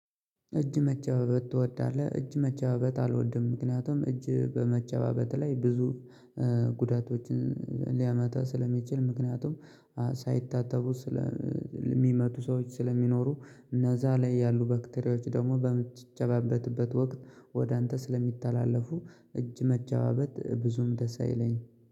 እጅ መጨባበት ትወዳለህ? እጅ መጨባበት አልወድም። ምክንያቱም እጅ በመጨባበት ላይ ብዙ ጉዳቶችን ሊያመታ ስለሚችል። ምክንያቱም ሳይታተቡ ስለ የሚመቱ ሰዎች ስለሚኖሩ። እነዛ ላይ ያሉ በክቴሪዎች ደግሞ በምትጨባበትበት ወቅት ወደ አንተ ስለሚተላለፉ። እጅ መጨባበት ብዙም ደስ አይለኝ።